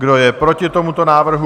Kdo je proti tomuto návrhu?